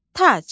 Tac.